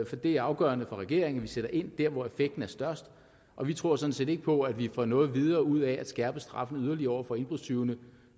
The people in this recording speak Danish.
for det er afgørende for regeringen at vi sætter ind der hvor effekten er størst og vi tror sådan set ikke på at vi får noget videre ud af at skærpe straffene yderligere over for indbrudstyvene